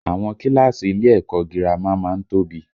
Àwọn kíláàsì ilé ẹ̀kọ́ ọ girama má ń tóbi